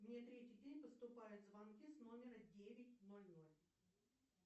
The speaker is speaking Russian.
мне третий день поступают звонки с номера девять ноль ноль